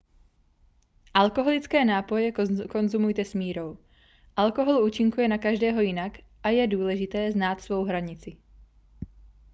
alkoholické nápoje konzumujte s mírou alkohol účinkuje na každého jinak a je důležité znát svou hranici